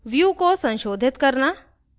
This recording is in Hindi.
view को संशोधित करना